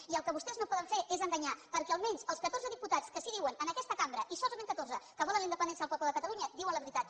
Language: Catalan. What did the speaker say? i el que vostès no poden fer és enganyar perquè almenys els catorze diputats que sí que diuen en aquesta cambra i solament catorze que volen la independència del poble de catalunya diuen la veritat